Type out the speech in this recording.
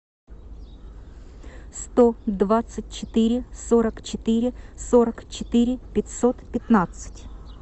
сто двадцать четыре сорок четыре сорок четыре пятьсот пятнадцать